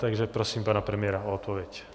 Takže prosím pana premiéra o odpověď.